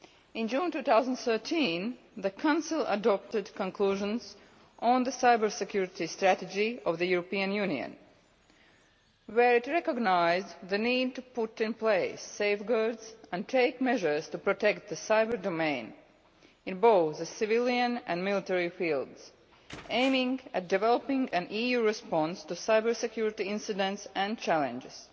In June 2013 the Council adopted Conclusions on the Cybersecurity Strategy of the European Union where it recognised the need to put in place safeguards and take measures to protect the cyber domain, in both the civilian and military fields, aiming at developing an EU response to cybersecurity incidents and challenges.